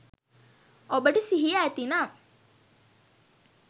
ඔබට සිහිය ඇතිනම්